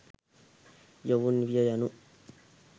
යොවුන් විය යනු